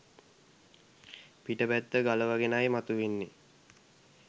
පිට පැත්ත ගලවගෙනයි මතුවෙන්නෙ